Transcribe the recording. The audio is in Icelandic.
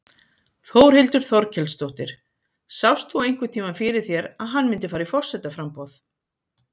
Þórhildur Þorkelsdóttir: Sást þú einhvern tímann fyrir þér að hann myndi fara í forsetaframboð?